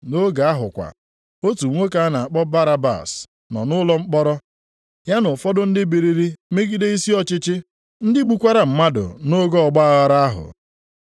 Nʼoge ahụ kwa, otu nwoke a na-akpọ Barabas nọ nʼụlọ mkpọrọ, ya na ụfọdụ ndị biliri megide isi ọchịchị, ndị gbukwara mmadụ nʼoge ọgbaaghara ahụ.